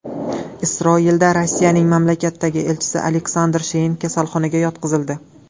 Isroilda Rossiyaning mamlakatdagi elchisi Aleksandr Shein kasalxonaga yotqizildi.